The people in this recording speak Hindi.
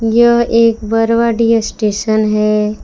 यह एक बरवाडीह स्टेशन है।